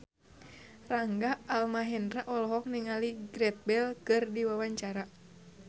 Rangga Almahendra olohok ningali Gareth Bale keur diwawancara